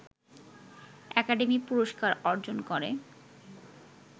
academy পুরস্কার অর্জন করে